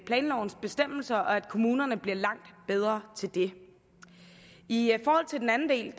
planlovens bestemmelser og at kommunerne bliver langt bedre til det i forhold til den anden del af